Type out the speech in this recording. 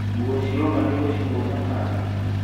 Nguo cioma nĩũgũcihũra bathi?